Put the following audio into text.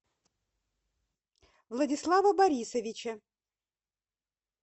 владислава борисовича